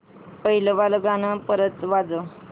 पहिलं वालं गाणं परत वाजव